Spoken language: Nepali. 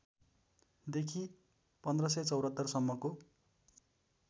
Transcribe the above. देखि १५७४ सम्मको